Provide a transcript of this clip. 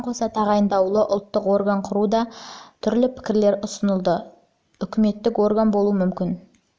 бұған қоса тағайындаулы ұлттық орган құру туралы да түрлі пікірлер ұсынылды ол да сияқты үкіметтік орган болуы мүмкін